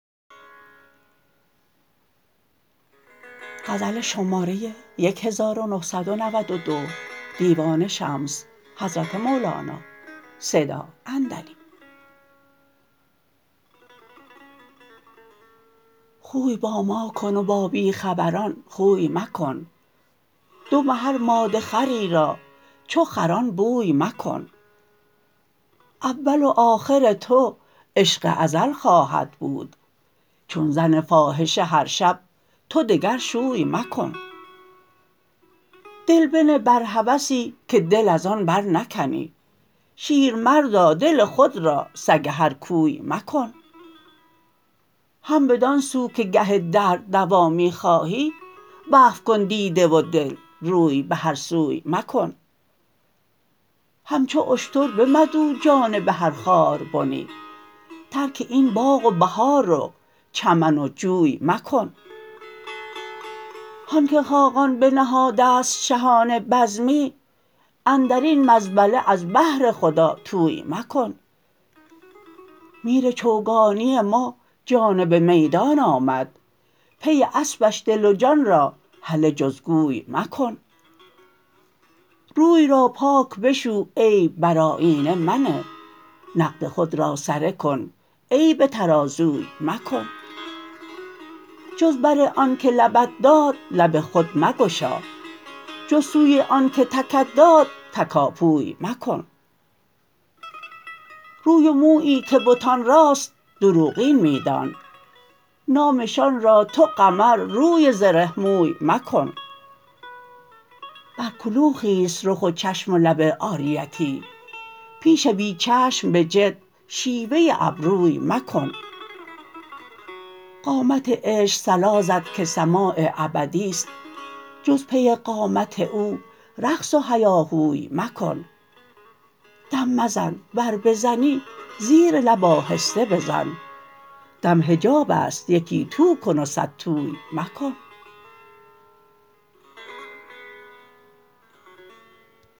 خوی با ما کن و با بی خبران خوی مکن دم هر ماده خری را چو خران بوی مکن اول و آخر تو عشق ازل خواهد بود چون زن فاحشه هر شب تو دگر شوی مکن دل بنه بر هوسی که دل از آن برنکنی شیرمردا دل خود را سگ هر کوی مکن هم بدان سو که گه درد دوا می خواهی وقف کن دیده و دل روی به هر سوی مکن همچو اشتر بمدو جانب هر خاربنی ترک این باغ و بهار و چمن و جوی مکن هان که خاقان بنهاده است شهانه بزمی اندر این مزبله از بهر خدا طوی مکن میر چوگانی ما جانب میدان آمد پی اسپش دل و جان را هله جز گوی مکن روی را پاک بشو عیب بر آیینه منه نقد خود را سره کن عیب ترازوی مکن جز بر آن که لبت داد لب خود مگشا جز سوی آنک تکت داد تکاپوی مکن روی و مویی که بتان راست دروغین می دان نامشان را تو قمرروی زره موی مکن بر کلوخی است رخ و چشم و لب عاریتی پیش بی چشم به جد شیوه ابروی مکن قامت عشق صلا زد که سماع ابدی است جز پی قامت او رقص و هیاهوی مکن دم مزن ور بزنی زیر لب آهسته بزن دم حجاب است یکی تو کن و صدتوی مکن